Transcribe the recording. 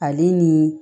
Ale ni